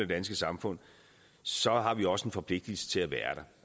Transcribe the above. danske samfund så har vi også en forpligtigelse til at være der